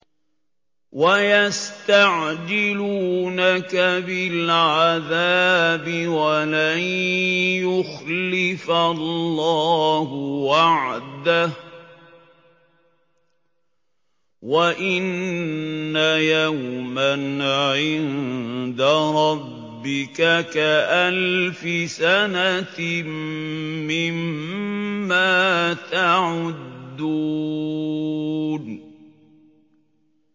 وَيَسْتَعْجِلُونَكَ بِالْعَذَابِ وَلَن يُخْلِفَ اللَّهُ وَعْدَهُ ۚ وَإِنَّ يَوْمًا عِندَ رَبِّكَ كَأَلْفِ سَنَةٍ مِّمَّا تَعُدُّونَ